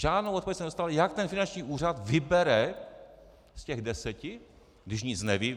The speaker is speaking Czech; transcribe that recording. Žádnou odpověď jsem nedostal, jak ten finanční úřad vybere z těch deseti, když nic neví.